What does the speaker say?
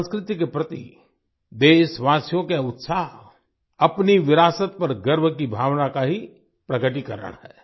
संस्कृति के प्रति देशवासियों का ये उत्साह अपनी विरासत पर गर्व की भावना का ही प्रकटीकरण है